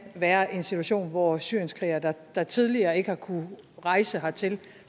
være en situation hvor syrienskrigere der der tidligere ikke har kunnet rejse hertil